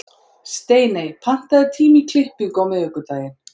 Steiney, pantaðu tíma í klippingu á miðvikudaginn.